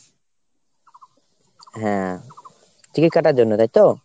হ্যাঁ, ticket কাটার জন্যে তাই তো ?